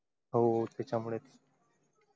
हो त्याच्या मुळेच.